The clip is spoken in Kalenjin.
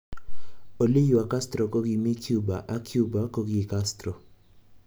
Oliywa Castro kokimi Cuba ak Cuba koki Castro.